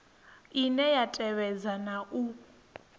ine ya tevhedza na u